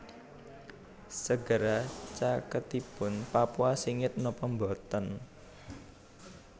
Segara caketipun Papua singit nopo mboten